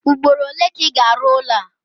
Ugboro ole ga Ị ga-arụ ụlọ a?